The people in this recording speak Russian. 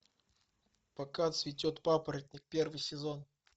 пока цветет папоротник первый сезон